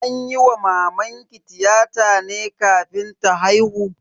An yi wa mamanki tiyata ne kafin ta haihu?